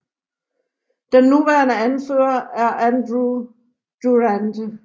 Den nuværende anfører er Andrew Durante